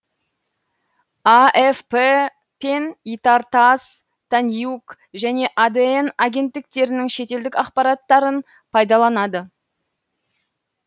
афп пен итар тасс танюг және адн агенттіктерінің шетелдік ақпараттарын пайдаланады